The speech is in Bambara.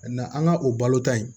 an ka o balota in